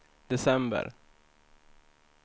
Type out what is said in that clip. december